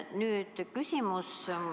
Nüüd küsimus.